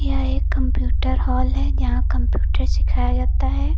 यह एक computer hall है यहां कंप्यूटर सिखाया जाता है।